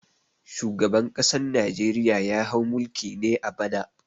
Shugaban ƙasan Najeriya ya hau mulki ne a bana.